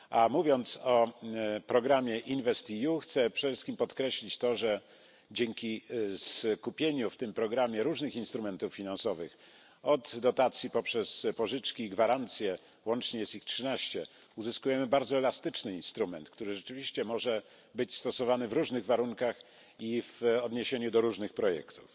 Mówiąc o programie InvestEU, chcę przede wszystkim podkreślić to, że dzięki skupieniu w tym programie różnych instrumentów finansowych od dotacji poprzez pożyczki i gwarancje łącznie jest ich trzynaście uzyskujemy bardzo elastyczny instrument, który rzeczywiście może być stosowany w różnych warunkach i w odniesieniu do różnych projektów.